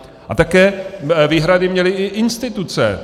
A také výhrady měly i instituce.